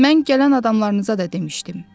Mən gələn adamlarınıza da demişdim.